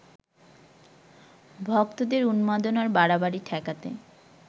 ভক্তদের উন্মাদনার বাড়াবাড়ি ঠেকাতে